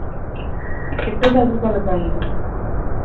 ਇਕੋ ਗੱਲ ਵੀ ਕਰਨ ਢਏ